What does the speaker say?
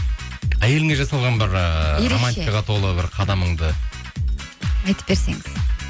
әйеліңе жасалған бір ыыы романтикаға толы бір қадамыңды айтып берсеңіз